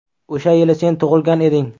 O‘sha yili sen tug‘ilgan eding.